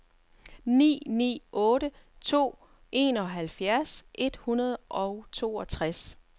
ni ni otte to enoghalvfjerds et hundrede og toogtres